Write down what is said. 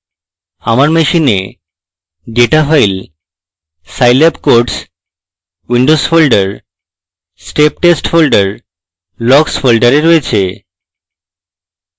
আমার machine data file scilab _ codes _ windows folder>> step test folder>> logs folder রয়েছে